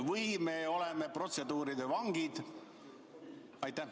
Või me oleme protseduuride vangid?